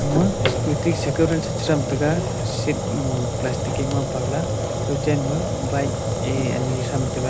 ma scooty sekoran shrethran sha chethram taiga seat mo plastic e mapaw la kawchen ma bike e anyi thram taiga.